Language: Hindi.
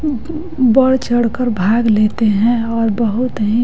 बढ़ चढ़कर भाग लेते हैं और बहुत है--